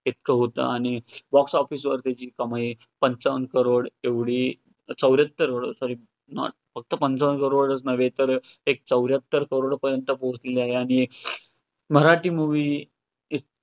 इतक होतं आणि box office वर त्याची कमाई पंचावन्न crores एवढी चौऱ्याहत्तर sorry not चौऱ्याहत्तर crores पर्यंत पोहचलेली आहे आणि मराठी movie